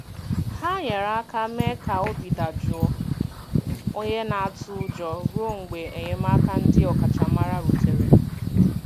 Ha nyere aka mee ka obi dajụọ onye na-atụ ụjọ ruo mgbe enyemaka ndị ọkachamara rutere.